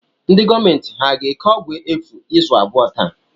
Ndị gọọmenti ha ga-eke ọgwụ efu izu abụọ taa?